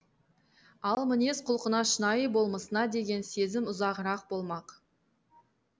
ал мінез құлқына шынайы болмысына деген сезім ұзағырақ болмақ